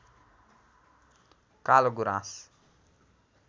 कालो गुराँस